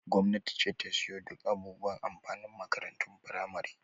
Gwamnati ce ta ke siyo duk abubuwan amfanin makarantun firamare.